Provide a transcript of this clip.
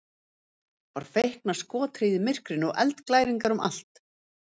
var feikna skothríð í myrkrinu og eldglæringar um allt